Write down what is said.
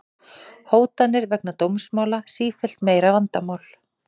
Hótanir vegna dómsmála sífellt meira vandamál